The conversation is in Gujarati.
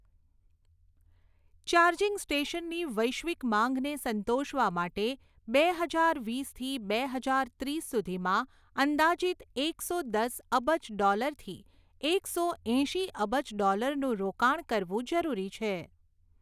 ચાર્જિંગ સ્ટેશનની વૈશ્વિક માંગને સંતોષવા માટે બે હજાર વીસથી બે હજાર ત્રીસ સુધીમાં અંદાજિત એકસો દસ અબજ ડૉલરથી એકસો એંશી અબજ ડૉલરનું રોકાણ કરવું જરૂરી છે.